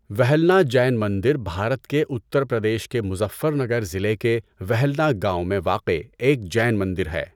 وہلنا جین مندر بھارت کے اتر پردیش کے مظفر نگر ضلع کے وہلنا گاؤں میں واقع ایک جین مندر ہے۔